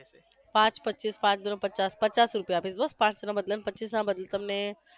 પાંચ પચ્ચીસ પાંચ દુ ને પચાસ પચાસ રૂપિયા આપીશ બસ પાંચ ના બદલે પચ્ચીસના બદલે તમને